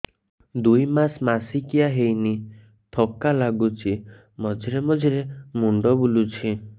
ଦୁଇ ମାସ ମାସିକିଆ ହେଇନି ଥକା ଲାଗୁଚି ମଝିରେ ମଝିରେ ମୁଣ୍ଡ ବୁଲୁଛି